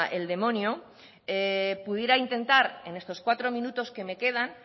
el demonio pudiera intentar en estos cuatro minutos que me quedan